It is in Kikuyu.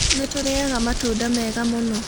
Nĩ tũrĩĩaga matunda mega mũno.